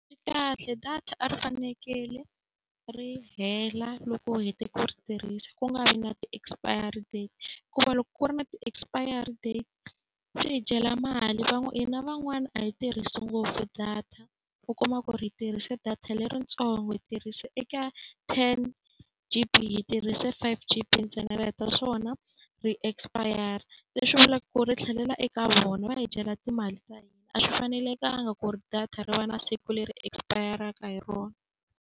Kahle data a ri fanekele ri hela loko u hete ku ri tirhisa ku nga vi na ti-expiry date, hikuva loko ku ri na ti expiry date swi hi dyela mali. Hina van'wani a yi tirhisi ngopfu data, u kuma ku ri hi tirhise data leritsongo hi tirhise eka ten G_B hi tirhise five G_B ntsena ri heta swona ri expire-ra. Leswi vulaka ku ri ri tlhelela eka vona. Va hi dyela timali ta hina, a swi fanelekangi ku ri data ri va na siku leri expire-ka hi rona.